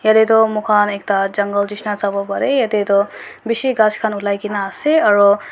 tey toh mu khan ekta jungle nishina sawopareh yatey toh bishi ghas khan ulaikena ase aro.